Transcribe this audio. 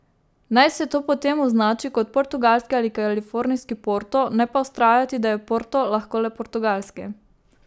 Naj se to potem označi kot portugalski ali kalifornijski Porto, ne pa vztrajati, da je Porto lahko le portugalski.